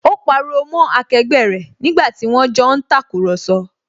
Ó pariwo mọ́ akẹgbẹ́ rẹ̀ nígbàtí wón jọ ń tàkurọ̀sọ